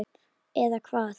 eða hvað?